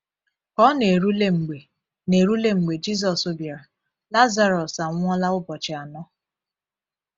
Ka ọ na-erule mgbe na-erule mgbe Jisus bịara, Lazarọs anwụọla ụbọchị anọ.